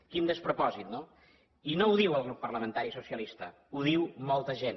quin despropòsit no i no ho diu el grup parlamentari socialista ho diu molta gent